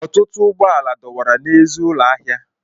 Otụtụ ụgbọ ala dọwara n'èzí ụlọ ahịa.